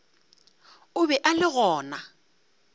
o be a le gona